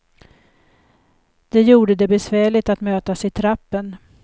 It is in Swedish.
Det gjorde det besvärligt att mötas i trappen.